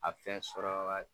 A fɛn sɔrɔ ka